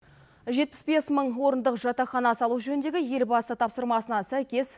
жетпіс бес мың орындық жатақхана салу жөніндегі елбасы тапсырмасына сәйкес